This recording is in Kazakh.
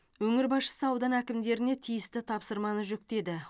өңір басшысы аудан әкімдеріне тиісті тапсырманы жүктеді